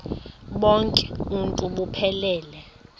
bonk uuntu buphelele